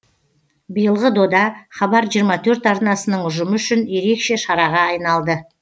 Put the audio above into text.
биылғы дода хабар жиырма төрт арнасының ұжымы үшін ерекше шараға айналды